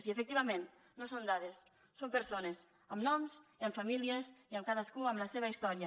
i efectivament no són dades són persones amb noms i amb famílies i cadascú amb la seva història